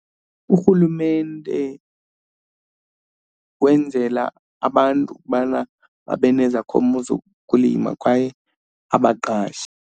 URhulumente wenzela abantu ukubana babe nezakhono zokulima kwaye abaqashe.